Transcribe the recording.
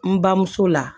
N bamuso la